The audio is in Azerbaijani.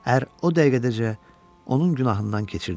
Ər o dəqiqədəcə onun günahından keçirdi.